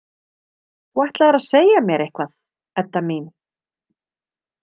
Þú ætlaðir að segja mér eitthvað, Edda mín.